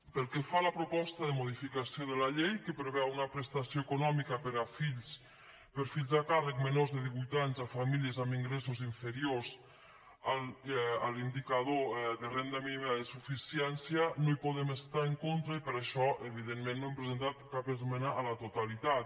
pel que fa a la proposta de modificació de la llei que preveu una prestació econòmica per fills a càrrec menors de divuit anys a famílies amb ingressos inferiors a l’indicador de renda mínima de suficiència no hi podem estar en contra i per això evidentment no hem presentat cap esmena a la totalitat